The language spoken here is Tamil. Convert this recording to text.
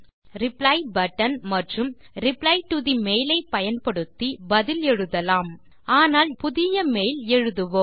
ரிப்ளை பட்டன் மற்றும் ரிப்ளை டோ தே மெயில் ஐ பயன்படுத்தி பதில் எழுதலாம் ஆனால் இங்கே ஒரு புதிய மெயில் எழுதுவோம்